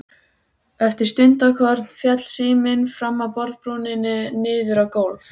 Eftir stundarkorn féll síminn fram af borðbrúninni niður á gólf.